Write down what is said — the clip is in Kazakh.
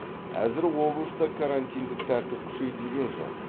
әзір облыста карантиндік тәртіп күшейтілген жоқ